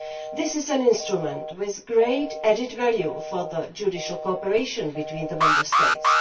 This is an instrument with great added value for the judicial cooperation between the Member States.